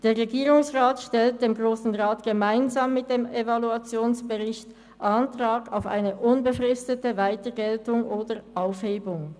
Der Regierungsrat stellt dem Grossen Rat gemeinsam mit dem Evaluationsbericht Antrag auf eine unbefristete Weitergeltung oder Aufhebung.